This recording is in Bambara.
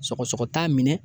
Sɔgɔsɔgɔ t'a minɛ